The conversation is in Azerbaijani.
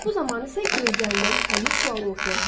Bu zaman isə gözlənilən həmin sual ortaya çıxır.